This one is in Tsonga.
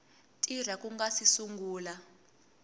tirha ku nga si sungula